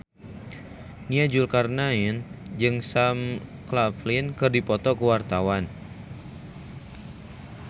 Nia Zulkarnaen jeung Sam Claflin keur dipoto ku wartawan